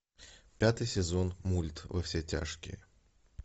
пятый сезон мульт во все тяжкие